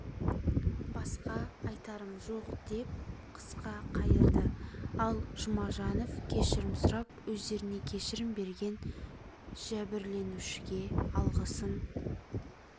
басқа айтарым жоқ деп қысқа қайырды ал жұмажанов кешірім сұрап өздеріне кешірім берген жәбірленушіге алғысын